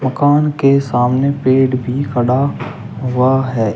दुकान के सामने पेड़ भी खड़ा हुआ है।